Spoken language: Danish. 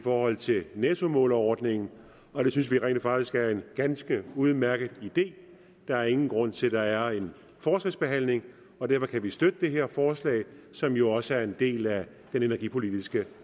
forhold til nettomålerordningen og det synes vi rent faktisk er en ganske udmærket idé der er ingen grund til at der er en forskelsbehandling og derfor kan vi støtte det her forslag som jo også er en del af den energipolitiske